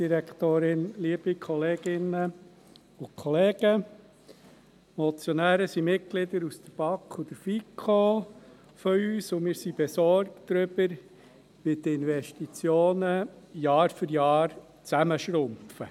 Die Motionäre sind Mitglieder der BaK und der FiKo, und wir sind besorgt darüber, wie die Investitionen Jahr für Jahr schrumpfen.